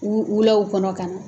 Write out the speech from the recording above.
U wula kɔnɔ ka na